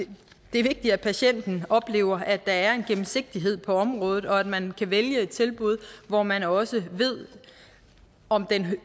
er vigtigt at patienten oplever at der er en gennemsigtighed på området og at man kan vælge et tilbud hvor man også ved om den